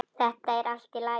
Þetta er allt í lagi.